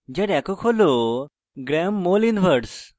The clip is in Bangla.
molecular weight যার একক g mol1